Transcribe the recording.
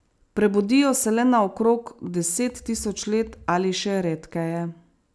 Prebudijo se le na okrog deset tisoč let ali še redkeje.